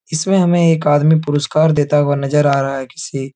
इसमें हमें एक आदमी पुरस्कार देता हुआ नजर आ रहा हैं। किसी--